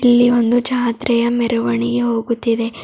ಇಲ್ಲಿ ಒಂದು ಜಾತ್ರೆಯ ಮೆರವಣಿಗೆ ಹೋಗುತಿದೆ.